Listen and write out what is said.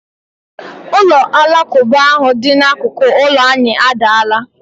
Ụlọ alakụba ahụ dị n'akụkụ ụlọ anyị adaala.